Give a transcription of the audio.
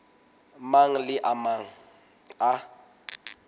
mang le a mang a